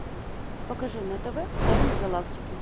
покажи на тв тайны галактики